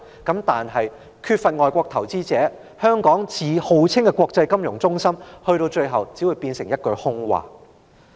但是，缺少外國投資者，最後只會令香港的國際金融中心稱號，變成一句空話。